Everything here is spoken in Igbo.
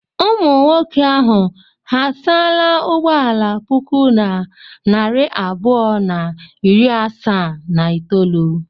Ụmụ nwoke ahụ ha asaala ụgbọala puku na narị abụọ na iri asaa na itolu?